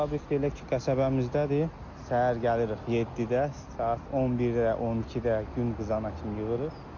Fabrik də elə ki qəsəbəmizdədir, səhər gəlirik 7-də, saat 11-də, 12-də, gün qızana kimi yığırıq.